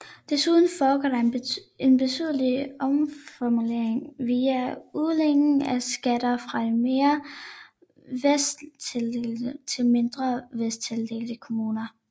Desuden foregår der en betydelig omfordeling via udligningen af skatter fra de mere velstillede til mindre velstillede kommuner